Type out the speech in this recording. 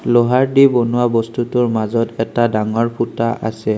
লোহাৰদি বনোৱা বস্তুটোৰ মাজত এটা ডাঙৰ ফুটা আছে।